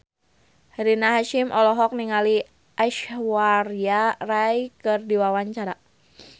Rina Hasyim olohok ningali Aishwarya Rai keur diwawancara